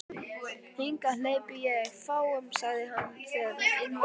Hingað hleypi ég fáum sagði hann, þegar inn var komið.